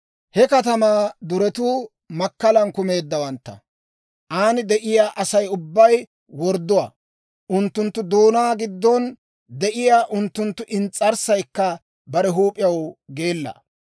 He katamaa duretuu makkalan kumeeddawantta; aan de'iyaa Asay ubbay wordduwaa. Unttunttu doonaa giddon de'iyaa unttunttu ins's'arssaykka bare huup'iyaw geella.